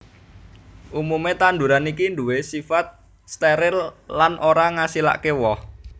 Umumé tanduran iki nduwé sifat steril lan ora ngasilaké woh